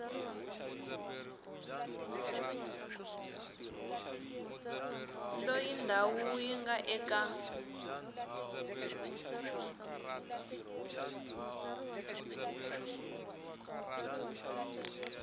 loyi ndhawu yi nga eka